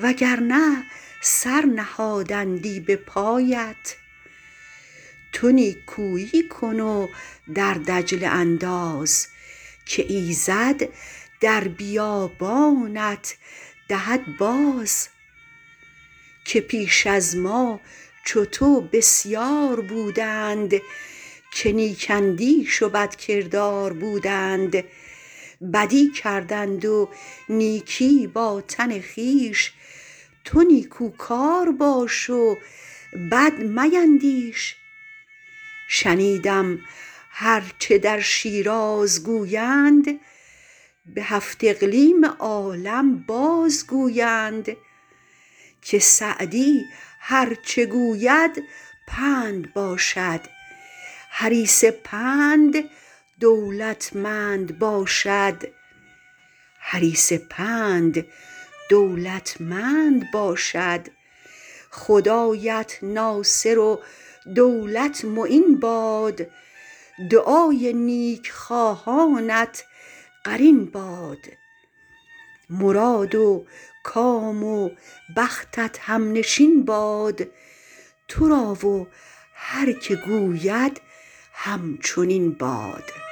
وگرنه سر نهادندی به پایت تو نیکویی کن و در دجله انداز که ایزد در بیابانت دهد باز که پیش از ما چو تو بسیار بودند که نیک اندیش و بدکردار بودند بدی کردند و نیکی با تن خویش تو نیکوکار باش و بد میندیش شنیدم هر چه در شیراز گویند به هفت اقلیم عالم باز گویند که سعدی هر چه گوید پند باشد حریص پند دولتمند باشد خدایت ناصر و دولت معین باد دعای نیک خواهانت قرین باد مراد و کام و بختت همنشین باد تو را و هر که گوید همچنین باد